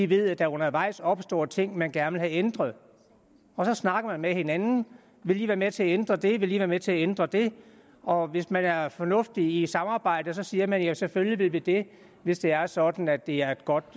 ved at der undervejs opstår ting man gerne vil have ændret så snakker man med hinanden og vil i være med til at ændre det vil i være med til at ændre det og hvis man er fornuftig i samarbejdet siger man ja selvfølgelig vil vi det hvis det er sådan at det er et godt